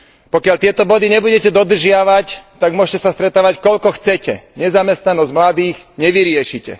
Pokiaľ tieto body nebudete dodržiavať, tak môžete sa stretávať koľko chcete, nezamestnanosť mladých nevyriešite.